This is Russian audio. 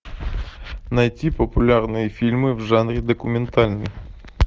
найти популярные фильмы в жанре документальный